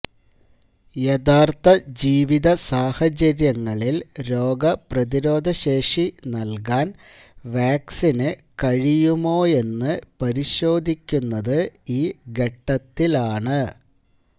യഥാര്ത്ഥ ജീവിത സാഹചര്യങ്ങളില് രോഗ പ്രതിരോധ ശേഷി നല്കാന് വാക്സിന് കഴിയുമോയെന്ന് പരിശോധിക്കുന്നത് ഈ ഘട്ടത്തിലാണ്